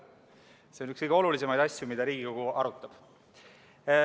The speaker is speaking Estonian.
See on üks kõige olulisemaid asju, mida Riigikogu arutab.